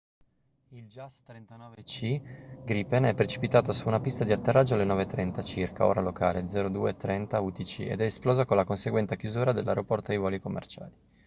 il jas 39c gripen è precipitato su una pista di atterraggio alle 9:30 circa ora locale 02:30 utc ed è esploso con la conseguente chiusura dell’aeroporto ai voli commerciali